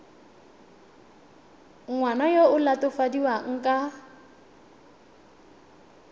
ngwana yo o latofadiwang ka